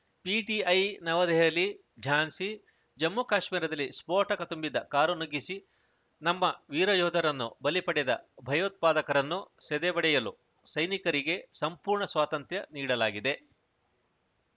PTI ನವದೆಹಲಿಝಾನ್ಸಿ ಜಮ್ಮುಕಾಶ್ಮೀರದಲ್ಲಿ ಸ್ಫೋಟಕ ತುಂಬಿದ್ದ ಕಾರು ನುಗ್ಗಿಸಿ ನಮ್ಮ ವೀರಯೋಧರನ್ನು ಬಲಿ ಪಡೆದ ಭಯೋತ್ಪಾದಕರನ್ನು ಸದೆಬಡಿಯಲು ಸೈನಿಕರಿಗೆ ಸಂಪೂರ್ಣ ಸ್ವಾತಂತ್ರ್ಯ ನೀಡಲಾಗಿದೆ